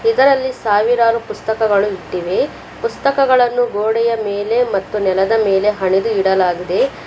ಇದರಲ್ಲಿ ಸಾವಿರಾರು ಪುಸ್ತಕಗಳು ಇಟ್ಟಿವೆ ಪುಸ್ತಕಗಳನ್ನು ಗೋಡೆಯ ಮೇಲೆ ಮತ್ತು ನೆಲದ ಮೇಲೆ ಹಣೆದು ಇಡಲಾಗಿದೆ.